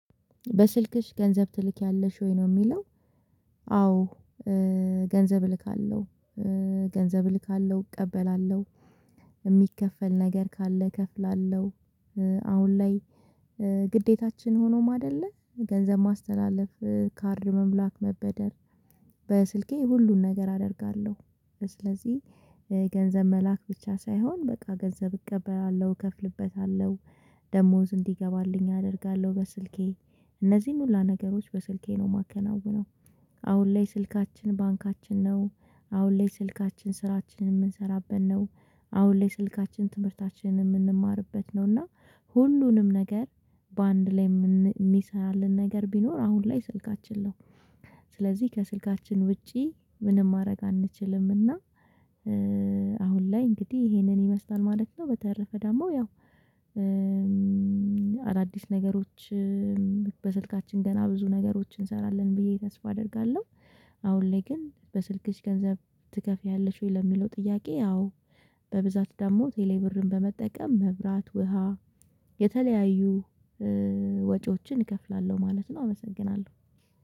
በስልክሽ ገንዘብ ትልኪያለሽ ወይ? ነው የሚለው። አዎ ገንዘብ እልካለሁ። ገንዘብ እልካለሁ። እቀበላለሁ። የሚከፈል ነገር ካለ እከፍላለሁ። አሁን ላይ ግዴታችን ሆኖም አይደለ? ገንዘብ ማስተላለፍ ካርድ ሙላት፣ መበደር በስልኬ ሁሉን ነገር አደርጋለሁ። ስለዚህ ገንዘብ መላክ ብቻ ሳይሆን በቃ ገንዘብ እቀበላለሁ፣ እከፍልበታለሁ። ደሞዝ እንዲገባልኝ አደርጋለሁ በስልኬ። እነዚህን ሁላ ነገሮች በስልኬ ነው የማከናውነው። አሁን ላይ ስልካችን ባንካችን ነው። አሁን ላይ ስልካችን ስራችንን የምንሰራበት ነው። አሁን ላይ ስልካችን ትምህርታችንን የምንማርበት ነው። እና ሁሉንም ነገር በአንድ ላይ የሚሰራልን ነገር ቢኖር አሁን ላይ ስልካችን ነው። ስለዚህ ከስልካችን ውጪ ምንም ማድረግ አንችልም። እና አሁን ላይ እንግዲህ ይሄንን ይመስላል ማለት ነው። በተረፈ ደግሞ ያው አዳዲስ ነገሮች በስልካችን ገና ብዙ ነገሮችን እንሰራለን ብዬ ተስፋ አደርጋለሁ። አሁን ላይ ግን በስልክሽ ገንዘብ ትከፍያለሽ ወይ? ለሚለው ጥያቄ አዎ በብዛት ደግሞ ቴሌ ብርን በመጠቀም መብራት፣ ውሃ የተለያዩ ወጪዎችን እከፍላለሁ ማለት ነው። አመሰግናለሁ።